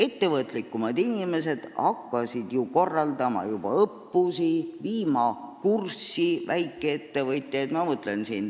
Ettevõtlikumad inimesed hakkasid ju juba õppusi korraldama, väikeettevõtjaid asjaga kurssi viima.